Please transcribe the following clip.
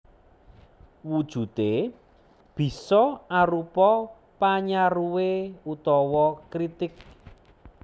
Wujudé bisa arupa panyaruwé utawa kritik